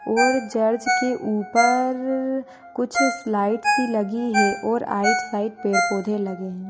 और चर्च की उपर कुछ स्लाइड सी लगी है और राइट साइड पेड़ पौधे लगे है।